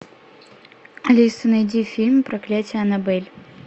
алиса найди фильм проклятие аннабель